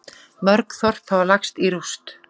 Mörg þorp hafa lagst í rúst